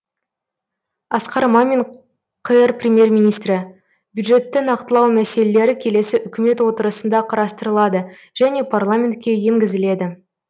асқар мамин қр премьер министрі бюджетті нақтылау мәселелері келесі үкімет отырысында қарастырылады және парламентке енгізіледі